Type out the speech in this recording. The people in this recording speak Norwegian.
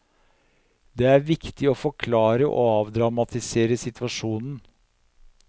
Det er viktig å forklare og avdramatisere situasjonen.